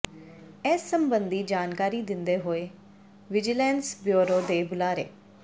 ਇਸ ਸਬੰਧੀ ਜਾਣਕਾਰੀ ਦਿੰਦੇ ਹੋਏ ਵਿਜੀਲੈਂਸ ਬਿਊਰੋ ਦੇ ਬੁਲਾਰੇ